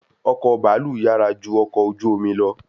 Ọkọ̀ baalu yàrá ju ọkọ ojú omi lọ